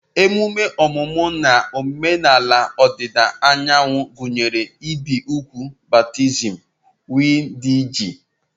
Emume omumu ln omenala odida anyanwu gunyere ibi úgwù, baptism wdg.